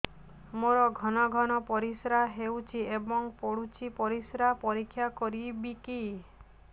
ମୋର ଘନ ଘନ ପରିସ୍ରା ହେଉଛି ଏବଂ ପଡ଼ୁଛି ପରିସ୍ରା ପରୀକ୍ଷା କରିବିକି